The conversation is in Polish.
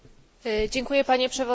Panie Przewodniczący!